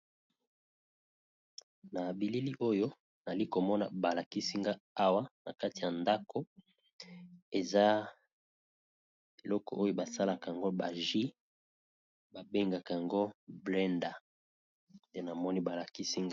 Machini oyo tozomona na mesa, esalisaka batu pona konika biloko ya ndenge na ndenge lokola tomate, pilipili, kosala supu. Na lopoto babengi yango mixeur.